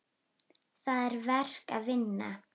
Það er verk að vinna.